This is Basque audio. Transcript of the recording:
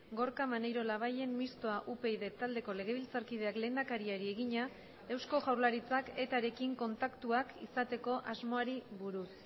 gorka maneiro labayen mistoa upyd taldeko legebiltzarkideak lehendakariari egina eusko jaurlaritzak etarekin kontaktuak izateko asmoari buruz